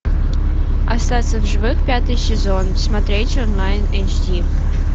остаться в живых пятый сезон смотреть онлайн эйч ди